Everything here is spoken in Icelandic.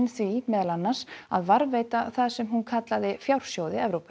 því meðal annars að varðveita það sem hún kallaði fjársjóði Evrópu